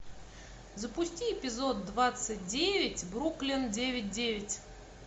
запусти эпизод двадцать девять бруклин девять девять